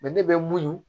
ne bɛ muɲu